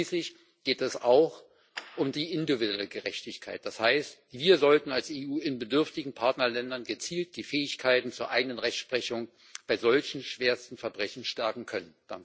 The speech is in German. Und schließlich geht es auch um die individuelle Gerechtigkeit, das heißt, wir sollten als EU in bedürftigen Partnerländern gezielt die Fähigkeiten zur eigenen Rechtsprechung bei solchen schwersten Verbrechen stärken können.